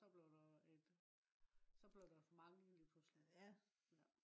så blev der et så blev der for mange lige pludselig